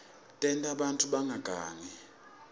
tenta bantfu bangagangi